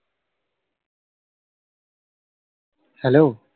Hello!